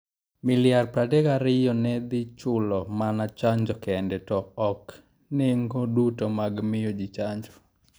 Miliar 32 ne dhi chulo mana chanjo kende, to ok nengo duto mag miyo ji chanjo.